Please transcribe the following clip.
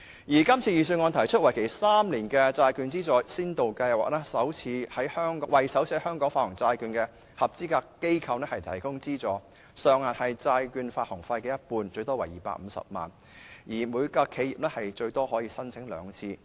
預算案提出為期3年的債券資助先導計劃，為首次在香港發行債券的合資格機構提供資助，金額是債券發行費的一半，最多為250萬元，每間企業最多可以申請兩次。